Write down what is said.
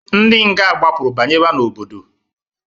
Ndị nga gbapụrụ banyewa n'obodo.